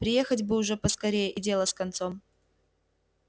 приехать бы уж поскорее и дело с концом